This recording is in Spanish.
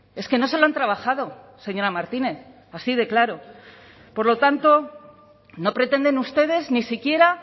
es que no se lo han trabajado señora martínez así de claro por lo tanto no pretenden ustedes ni siquiera